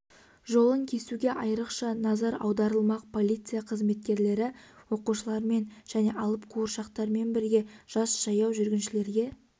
жолын кесуге айрықша назар аударылмақ полиция қызметкерлері оқушылармен және алып қуыршақтармен бірге жас жаяу жүргіншілерге